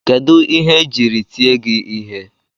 Kedụ ihe ejiri tie gị ihe?